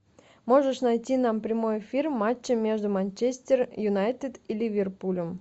можешь найти нам прямой эфир матча между манчестер юнайтед и ливерпулем